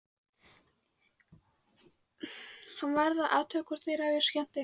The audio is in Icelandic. Hann varð að athuga hvort þeir hefðu skemmt eitthvað.